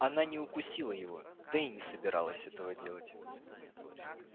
она не укусила его да и не собиралась этого делать